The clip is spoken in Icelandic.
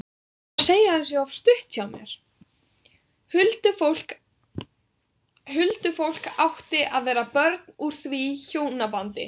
Huldufólk átti að vera börn úr því hjónabandi.